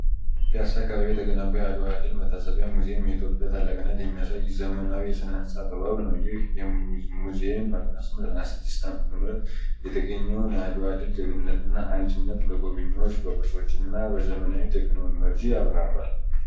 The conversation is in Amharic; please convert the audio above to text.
ፒያሳ አካባቢ የተገነባው አድዋ ድል መታሰቢያ ሙዚየም የኢትዮጵያን ታላቅነት የሚያሳይ ዘመናዊ የሥነ-ሕንፃ ጥበብ ነው። ይህ ሙዚየም በ1896 ዓ.ም. የተገኘውን የአድዋ ድል፣ ጀግንነትና አንድነት ለጎብኚዎች በቅርሶችና በዘመናዊ ቴክኖሎጂ ያብራራል።